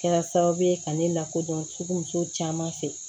Kɛra sababu ye ka ne lakodɔn furu muso caman fɛ